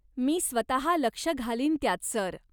मी स्वतः लक्ष घालीन त्यात, सर.